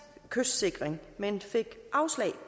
kystsikring men de fik afslag